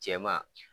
Cɛman